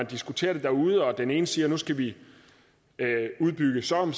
diskuterer det derude og den ene siger at nu skal vi udbygge så